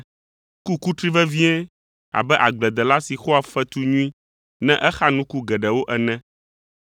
Ku kutri vevie abe agbledela si xɔa fetu nyui ne exa nuku geɖewo ene.